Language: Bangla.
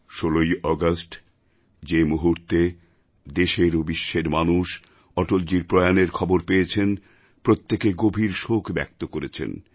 ১৬ই আগষ্ট যে মুহূর্তে দেশের ও বিশ্বের মানুষ অটলজীর প্রয়াণের খবর পেয়েছেন প্রত্যেকে গভীর শোক ব্যক্ত করেছেন